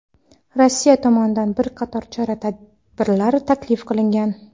Rossiya tomonidan bir qator chora-tadbirlar taklif qilingan.